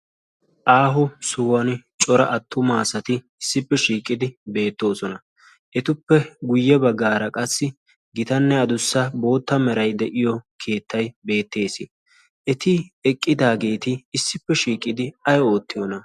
aaho sohuwan cora attuma asati issippe shiiqidi beetoosona. etappe guye bagaara cora asati eqqidosona. eti eqqidageeti ay oottiyoonaa?